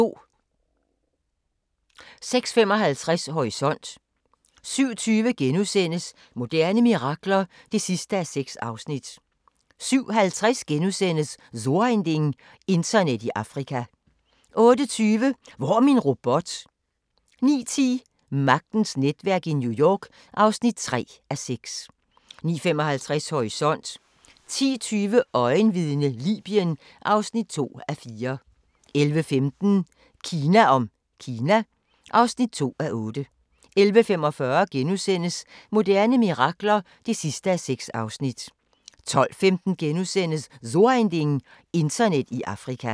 06:55: Horisont 07:20: Moderne mirakler (6:6)* 07:50: So ein Ding: Internet i Afrika * 08:20: Hvor er min robot? 09:10: Magtens netværk i New York (3:6) 09:55: Horisont 10:20: Øjenvidne - Libyen (2:4) 11:15: Kina om Kina (2:8) 11:45: Moderne mirakler (6:6)* 12:15: So ein Ding: Internet i Afrika *